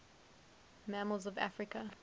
mammals of africa